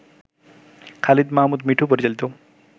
খালিদ মাহমুদ মিঠু পরিচালিত